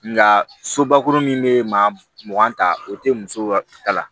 Nka sobakurun min bɛ maa mugan ta o tɛ muso ka ta la